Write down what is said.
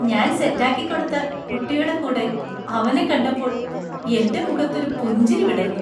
ഞാൻ സെറ്റാക്കിക്കൊടുത്ത കുട്ടിയുടെ കൂടെ അവനെ കണ്ടപ്പോൾ എൻ്റെ മുഖത്തൊരു പുഞ്ചിരി വിടർന്നു.